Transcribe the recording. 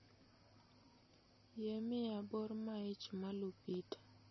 Yie miya bor ma ich ma lupita